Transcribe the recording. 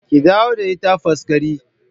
Ki dawo da ita Faskari!